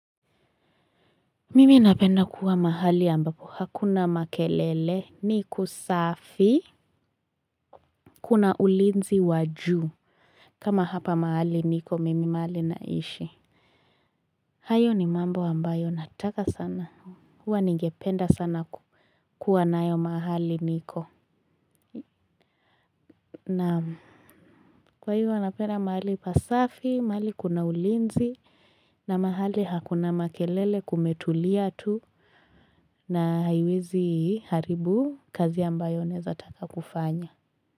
Mimi napenda kuwa mahali ambapo hakuna makelele ni kusafi kuna ulinzi wa juu kama hapa mahali niko mimi mahali naishi hayo ni mambo ambayo nataka sana huwa ningependa sana kuwa nayo mahali niko naam kwa hiyo napenda mahali pasafi mahali kuna ulinzi na mahali hakuna makelele kumetulia tu. Na haiwezi haribu kazi ambayo naezataka kufanya.